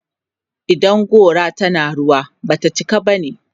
idan gora tana rawa, Bata cika bane